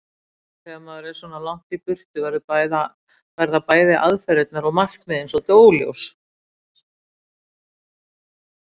En þegar maður er svona langt í burtu verða bæði aðferðirnar og markmiðin svolítið óljós.